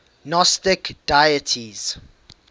gnostic deities